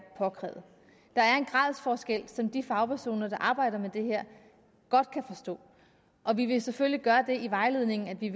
påkrævet der er en gradsforskel som de fagpersoner der arbejder med det her godt kan forstå og vi vil selvfølgelig gøre det i vejledningen at vi